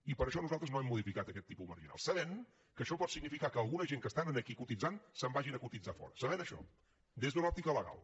i per això nosaltres no hem modificat aquest tipus marginal sabent que això pot significar que alguna gent que estan aquí cotitzant se’n vagin a cotitzar fora sabent això des d’una òptica legal